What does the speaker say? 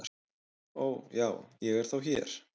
"""Ó, já, ég er þá hér"""